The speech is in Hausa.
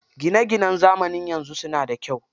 Gina ginan zamanin yanzu suna da kyau.